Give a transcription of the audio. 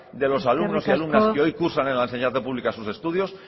de los alumnos y alumnas que hoy cursan en la enseñanza pública sus estudios